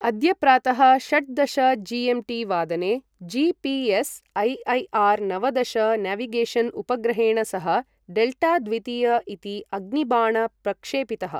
अद्य प्रातः षट्दश जी.एम्.टी. वादने जी.पी.एस्. ऐ.ऐ.आर्. नवदश नेविगेशन् उपग्रहेण सह डेल्टा द्वितीय इति अग्निबाण प्रक्षेपितः।